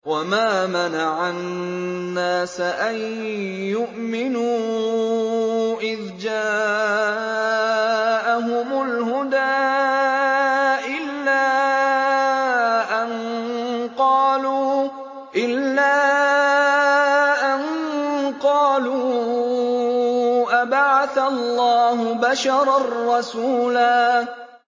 وَمَا مَنَعَ النَّاسَ أَن يُؤْمِنُوا إِذْ جَاءَهُمُ الْهُدَىٰ إِلَّا أَن قَالُوا أَبَعَثَ اللَّهُ بَشَرًا رَّسُولًا